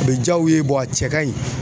A bɛ jaa u ye a cɛ ka ɲi.